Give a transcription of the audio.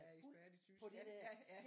Er ekspert i tysk ja ja